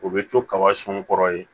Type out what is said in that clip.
O bɛ to kaba sɔn n kɔrɔ yen